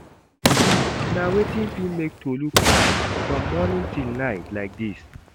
Na wetin fit make Tolu cry from morning till night like this?